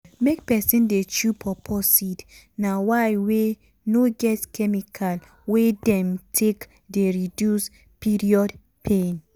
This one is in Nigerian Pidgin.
make peson dey chew pawpaw seed na way wey no get chemical wey dem take dey reduce period pain.